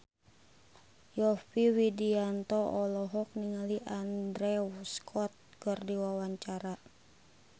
Yovie Widianto olohok ningali Andrew Scott keur diwawancara